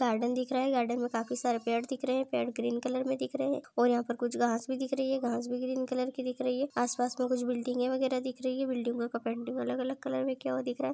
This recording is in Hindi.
गार्डन दिख रहा है गार्डन में काफी सारे पेड़ दिख रहे है पेड़ ग्रीन कलर में दिख रहे है और यहां पर कुछ घास भी दिख रही है घास भी ग्रीन कलर की दिख रही है आसपास में कुछ बिल्डिंग है वगैरा दिख रही है बिल्डिंग का का पेंटिंग अलग-अलग कलर में क्या दिख रहा है।